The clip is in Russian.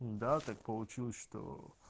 да так получилось что